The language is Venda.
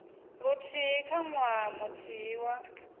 luthihi kha ṅwaha muthihi wa